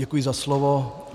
Děkuji za slovo.